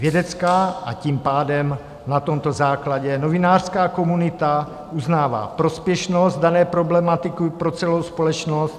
Vědecká, a tím pádem na tomto základě novinářská komunita uznává prospěšnost dané problematiky pro celou společnost.